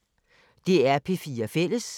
DR P4 Fælles